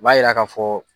U b'a yira k'a fɔ